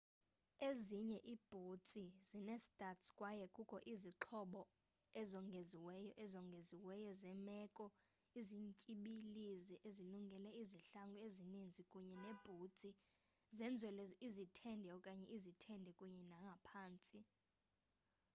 ezinye iibhutsi zinee-studs kwaye kukho izixhobo ezongeziweyo ezongeziweyo zeemeko ezimtyibilizi ezilungele izihlangu ezininzi kunye neebhutsi zenzelwe izithende okanye izithende kunye nangaphantsi